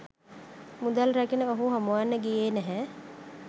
මුදල් රැගෙන ඔහු හමුවන්න ගියේ නැහැ